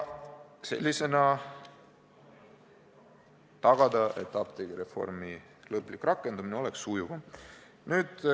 Sel moel saaks tagada, et apteegireformi lõplik rakendamine oleks sujuvam.